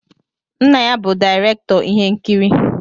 Nna ya bụ direktọr ihe nkiri.